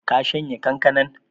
Ka shanya kankanan?